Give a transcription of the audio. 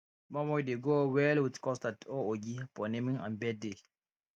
moin moin dey go well with custard or ogi for naming and birthday